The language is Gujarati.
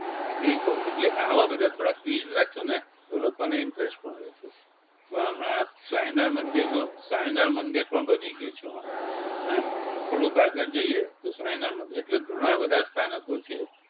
હા ઈ કવ એટલે આવા બધા થોડા quiz રાખશુંને તો લોકોને interest પણ રેહશે. વા હમણાં સ્વામિનારાયણ મંદિરનો સ્વામિનારાયણ મંદિર પણ બની ગયું છે વા હે થોડુક આગળ જઈએ તો સ્વામિનારાયણ મંદિર એટલે ઘણાં બધા સ્થાનકો છે